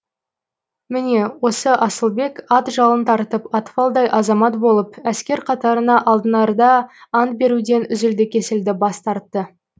міне осы асылбек ат жалын тартып атпалдай азамат болып әскер қатарына алынарда ант беруден үзілді кесілді бас тартты